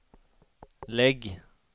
lägg